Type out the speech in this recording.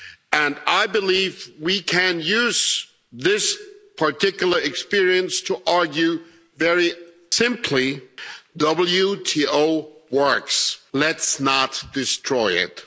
And I believe we can use this particular experience to argue very simply the WTO works, let's not destroy it'.